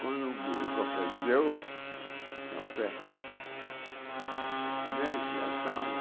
Quando o café deu, café, nesse,